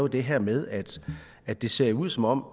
det her med at det ser ud som om